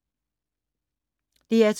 DR2